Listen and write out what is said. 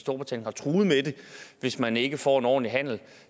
hvis man ikke får en ordentlig handel